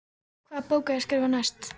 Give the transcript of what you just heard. Hvaða bók á ég að skrifa næst?